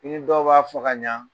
I ni dɔ b'a fɔ ka ɲa